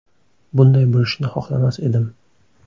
Bunday bo‘lishini xohlamas edim.